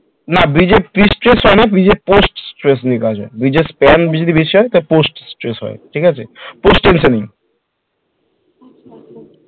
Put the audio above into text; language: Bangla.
না Bridge এ pre test হয় না post test নিয়ে কাজ হয় bridge যদি বেশি হয় তাহলে post test হয়